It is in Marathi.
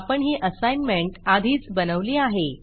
आपण ही असाईनमेंट आधीच बनवली आहे